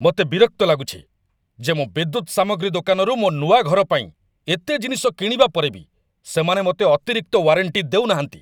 ମୋତେ ବିରକ୍ତ ଲାଗୁଛି ଯେ ମୁଁ ବିଦ୍ୟୁତ ସାମଗ୍ରୀ ଦୋକାନରୁ ମୋ ନୂଆ ଘର ପାଇଁ ଏତେ ଜିନିଷ କିଣିବା ପରେ ବି ସେମାନେ ମୋତେ ଅତିରିକ୍ତ ୱାରେଣ୍ଟି ଦେଉନାହାନ୍ତି।